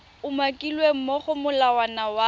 umakilweng mo go molawana wa